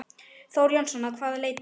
Þór Jónsson: Að hvaða leyti?